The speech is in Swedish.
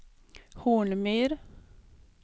Hornmyr